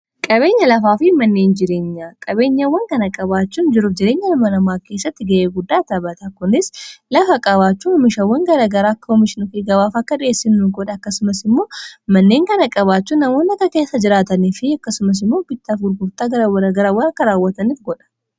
Qabeenya lafaa fi manneen jireenya, qabeenyawwan kana qabaachuun jiruuf jireenya ilma namaa keessatti ga'ee guddaa taphata. Kunis lafa qabaachuu oomishawwan gara garaa akka oomishna fi gabaaf akka dhiheessinnu godha. Akkasumas immoo manneen kana qabaachuu namoonni akka keessa jiraatanii fi akkasumas immoo bittaaf gurgurtaa gara garaa akka raawwataniif godha.